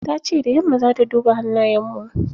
Tace da yamma zata duba hannayen mu.